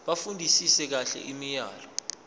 bafundisise kahle imiyalelo